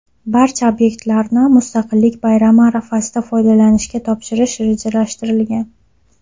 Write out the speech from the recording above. Barcha obyektlarni Mustaqillik bayrami arafasida foydalanishga topshirish rejalashtirilgan.